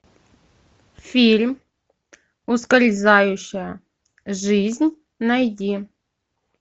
фильм ускользающая жизнь найди